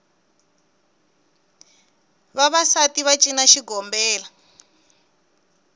vavasati va cina xigombela